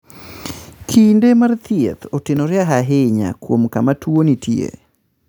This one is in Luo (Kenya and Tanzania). Kinde mar thieth otenore ahinya kuom kama tuwo nitie.